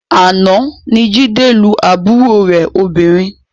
Àná ni Jídé lu àbúrò rẹ̀ obìnrin